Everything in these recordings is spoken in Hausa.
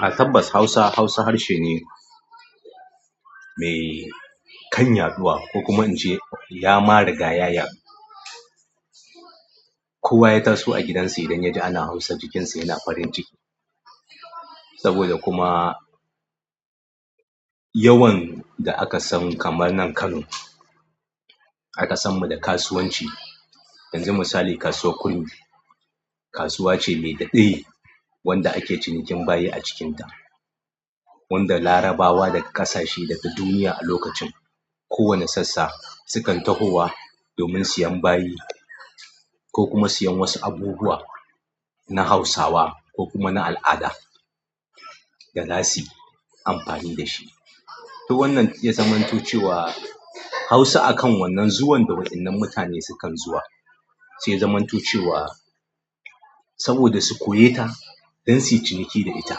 A tabbas Hausa, Hausa harshe ne mai kan yaɗuwa. Ko kuma in ce yama riga ya ya du. Kuwa ya taso a gidan su idan yaji ana hausa a gidan su yana farin ciki saboda kuma yawan da aka san kamar nan Kano. Aka sanmu da kasuwan ci yanzu misali, Kasuwar Kurmi, kasuwa ce mai daɗi wanda ake cinikin bayi a cikinta. Wanda Larabawa daga ƙasashe daga duniya a lokacin kowane sassa sukan tahowa domin siyan bayi ko kuma siyan wasu abubuwa na Hausawa ko kuma na al'ada da zasu yi amfani da shi. To wannan ya zamantu cewa Hausa a kan wannan zuwan da waɗannan mutane sukan zuwa, sai zamantu cewa saboda su koya ta don su yi ciniki da ita.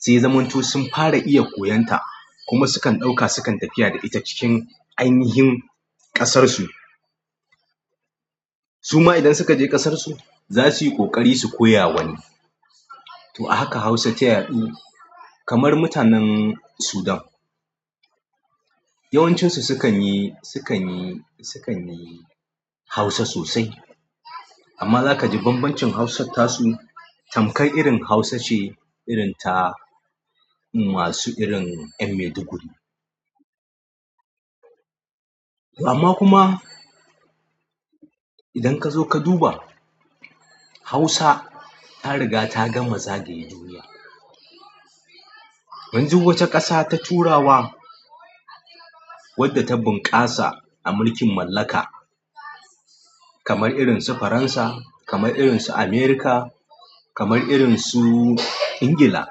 Sai zamantu sun fara iya koyon ta kuma sukan ɗauka sukan tafiya da ita cikin ainihin ƙasar su. Suma idan suka je ƙasar su za su yi ƙoƙari su koya wani. To a haka Hausa ta yaɗu kamar mutanen sudan. Yawancinsu sukan yi, sukan yi, sukan yi Hausa sosai. Amma za ka ji bambancin Hausar tasu tamkai irin Hausa ce irin ta masu irin ƴan maiduguri. Amman kuma idan kazo ka duba hausa tariga ta gama zagaya duniya yanzu wace ƙasa ta turawa wadda ta bunƙasa a mulkin mallaka kamar irin su Faransa, kamar irin su Amerika, kamar irin su Ingila.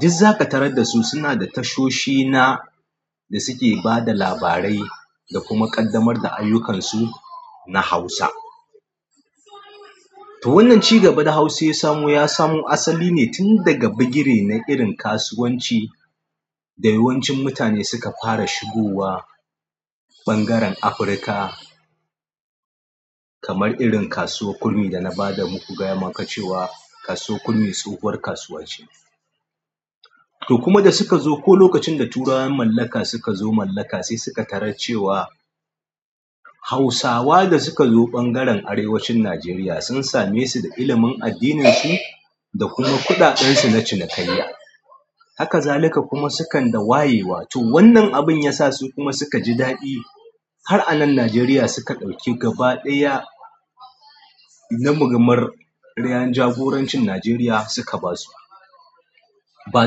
Diz za ka tarar da su suna da tashoshi na da suke ba da labarai da kuma ƙaddamar da ayyukansu na Hausa. To wannan cigaba da hausa yasamo ya samo asali ne tunda ga bigiri na irin na kasuwanci da yawan ci mutane suka fara shugowa ɓangaren afurka kamar irin Kasuwar Kurmi da na ba da muku gaya maka cewa Kasuwar Kurmi tsohuwar kasuwa ce. To kuma da suka zo ko lokacin da turawan mallaka suka zo mallaka sai suka tarar cewa Hausawa da suka zo ɓangaren arewacin Najeriya sun same su da ilimin addininsu da kuma kuɗaɗen su na cinikayya. Haka zalika kuma sukan da wayewa. To wannan abun ya sa su kuma suka ji daɗi har a nan Najeriya suka ɗauki gaba ɗaya na mugamar ɗayan jagorancin Najeriya suka ba su. Ba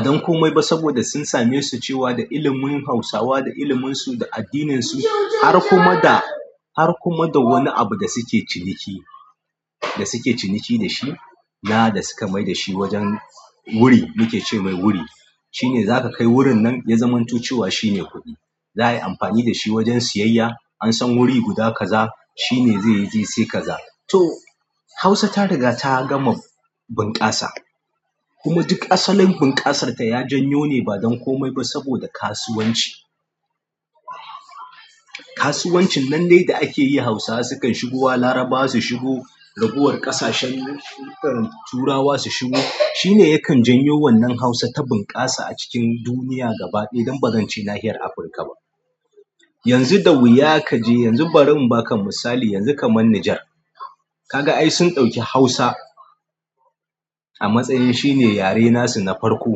don komai ba saboda sun same su cewa da ilimin Hausawa, da ilimin su, da addininsu har kuma da har kuma da wani abu da suke ciniki, da suke ciniki da shi na da suka mai da shi wajen wuri. Mu ke ce mai wuri. Shi ne za ka kai wurin nan ya zamantu cewa shi ne kuɗi. Za'ayi amfani dashi wajan sayayya. Ansan wuri guda kaza shine zai sai kaza to Hausa ta riga ta gama bunƙasa. Kuma duk asalin bunkasar ta ya janyo ne ba don komai ba saboda kasuwanci. Kasuwan cin nan dai da akiyi hausawa sukan shugowa larabawa su shugo raguwan ƙasashen turawa su shugo shine yakan janyowan hausa ta bunka sa acikin duniya gaba ɗaya dan badance nahiyan afutka ba. Yanzu da wuya ka je yanzu barin na ka misali yanzu ka man Nijar. Ka ga ai sun ɗauki Hausa a matsayin shi ne yare nasu na farko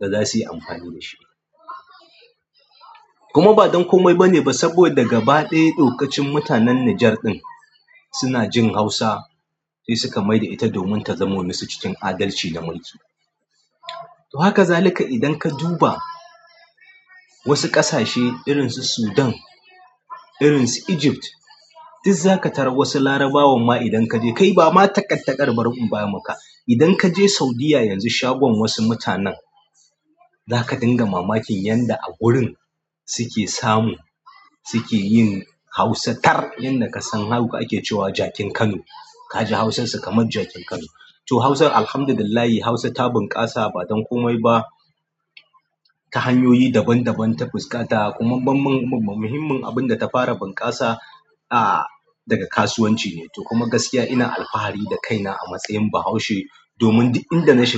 da za su yi amfani da shi. Kuma ba don komai bane ba saboda gaba ɗaya dokacin mutanen Nijar ɗin suna jin Hausa sai suka mai da ita domin ta zamo musu cikin adalci da maitu. To haka zalika idan ka duba wasu ƙasashe irin su Sudan, irin su Egypt. Diz za ka tarar wasu Larabawan ma idan ka je kai ba ma taƙaitakar Borno ba muka. Idan ka je Saudiyya yanzu shagunan wasu mutanen za ka dinga mamakin yanda a wurin su ke samu su ke yin Hausa tar. Yanda ka san haka ake cewa jakin Kano. Ka ji Hausar su kamar jakin Kano. To Hausar Alhamdulillah Hausa ta bunƙasa ba don komai ba. Ta hanyoyi daban daban ta fuskata kuma bamban-- muhimmin abin da ta fara bunƙasa a daga kasuwanci ne. To kuma gaskiya ina alfahari da kaina a matsayin Bahaushe domin duk inda na shiga.